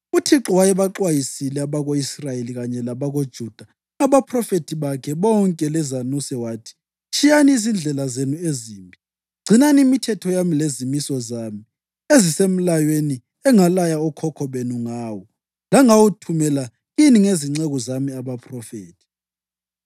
UThixo wayebaxwayisile abako-Israyeli kanye labakoJuda ngabaphrofethi bakhe bonke lezanuse wathi: “Tshiyani izindlela zenu ezimbi. Gcinani imithetho yami lezimiso zami ezisemlayweni engalaya okhokho benu ngawo lengawuthumela kini ngezinceku zami abaphrofethi.”